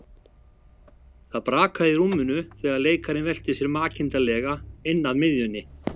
Það brakaði í rúminu þegar leikarinn velti sér makindalega inn að miðjunni.